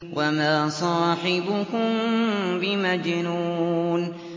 وَمَا صَاحِبُكُم بِمَجْنُونٍ